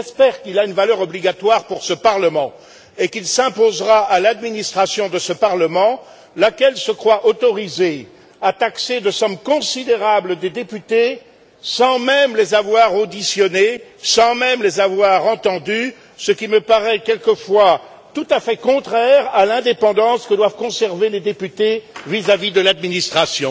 Mais j'espère qu'il a une valeur obligatoire pour ce Parlement et qu'il s'imposera à l'administration de ce Parlement, laquelle se croit autorisée à taxer de sommes considérables des députés sans même les avoir auditionnés, sans même les avoir entendus, ce qui me paraît, quelquefois, tout à fait contraire à l'indépendance que doivent conserver les députés vis à vis de l'administration.